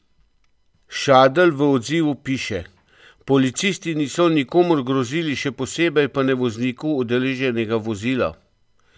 Šadl v odzivu piše: "Policisti niso nikomur grozili, še posebej pa ne vozniku udeleženega vozila.